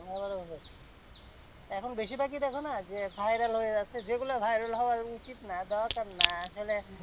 Available হচ্ছে। এখন বেশিরভাগই দেখোনা যে viral হয়ে যাচ্ছে। যেগুলো viral হওয়া উচিত না দরকার না। আসলে